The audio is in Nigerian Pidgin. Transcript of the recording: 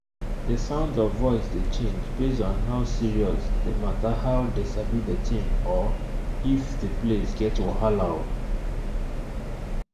the sound of voice dey change base on how serious the matterhow dey sabi the thing or if the place get wahala um